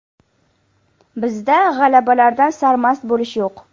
Bizda g‘alabalardan sarmast bo‘lish yo‘q.